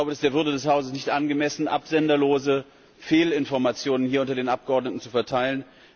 Es ist der Würde des Hauses nicht angemessen, absenderlose Fehlinformationen hier unter den Abgeordneten zu verteilen.